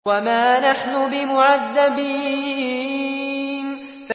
وَمَا نَحْنُ بِمُعَذَّبِينَ